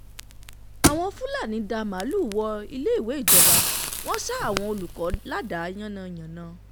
àwọn fúlàní um dá màálùú wọ iléèwé ìjọba um wọn ṣa àwọn olùkọ́ ládàá yánnayànna